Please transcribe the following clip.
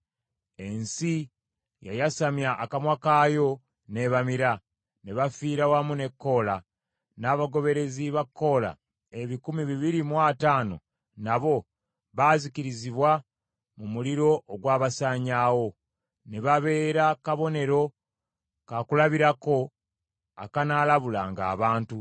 Ensi yayasamya akamwa kaayo n’ebamira, ne bafiira wamu ne Koola; n’abagoberezi ba Koola ebikumi bibiri mu ataano nabo baazikirizibwa mu muliro ogwabasaanyaawo. Ne babeera kabonero ka kulabirako akanaalabulanga abantu.